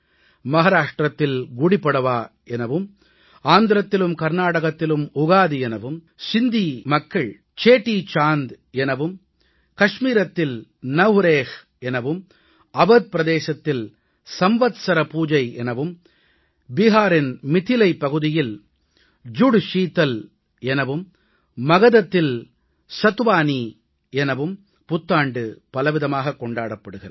மஹாராஷ்ட்ரத்தில் குடிபடவா எனவும் ஆந்திரத்திலும் கர்நாடகத்திலும் உகாதி எனவும் சிந்தி சேடீசாந்த் எனவும் காஷ்மீரில் நவ்ரேஹ் எனவும் அவத் பிரதேசத்தில் சம்வத்ஸர் பூஜை எனவும் பீகாரின் மிதிலைப் பகுதியில் ஜுட்ஷீதல் எனவும் மகதத்தில் சாதுவாணி எனவும் புத்தாண்டு பலவிதமாகக் கொண்டாடப்படுகிறது